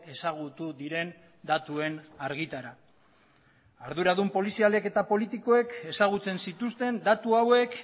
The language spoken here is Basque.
ezagutu diren datuen argitara arduradun polizialek eta politikoek ezagutzen zituzten datu hauek